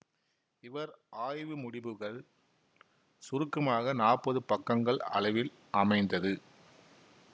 இவர் ஆய்வு முடிபுகள் சுருக்கமாக நாப்பது பக்கங்கள் அளவில் அமைந்தது